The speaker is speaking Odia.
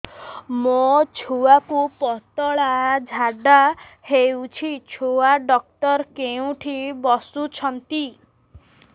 ମୋ ଛୁଆକୁ ପତଳା ଝାଡ଼ା ହେଉଛି ଛୁଆ ଡକ୍ଟର କେଉଁଠି ବସୁଛନ୍ତି